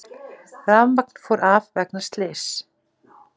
Rafmagn fór af vegna slyss